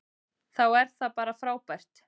Þá er það bara frábært.